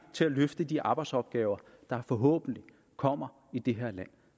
til at løfte de arbejdsopgaver der forhåbentlig kommer i det her land